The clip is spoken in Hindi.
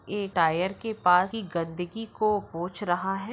ए टायर के पास गन्दगी को पोछ रहा है।